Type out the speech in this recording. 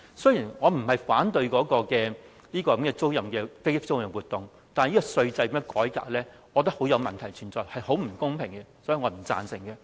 雖然我不是反對飛機租賃業務，但對於這樣的稅制改革，我覺得很有問題，非常不公平，所以我不贊成。